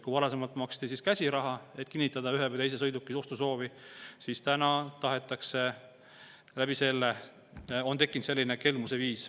Kui varasemalt maksti käsiraha, et kinnitada ühe või teise sõiduki ostu soovi, siis nüüd on tekkinud selline kelmuse viis.